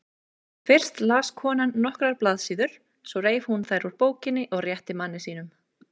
Fyrst las konan nokkrar blaðsíður, svo reif hún þær úr bókinni og rétti manni sínum.